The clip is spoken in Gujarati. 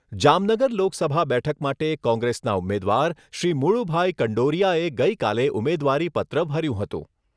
જામનગર લોકસભા બેઠક માટે કોંગ્રેસના ઉમેદવાર શ્રી મુળુભાઈ કંડોરીયાએ ગઈકાલે ઉમેદવારીપત્ર ભર્યું હતું.